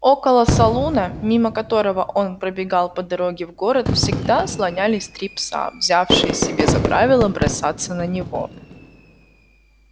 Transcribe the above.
около салуна мимо которого он пробегал по дороге в город всегда слонялись три пса взявшие себе за правило бросаться на него